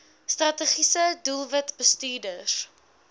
strategiese doelwit bestuurders